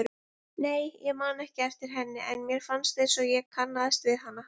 Nei, ég man ekki eftir henni en mér fannst einsog ég kannaðist við hana.